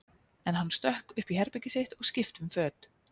En hann stökk upp í herbergið sitt og skipti um föt.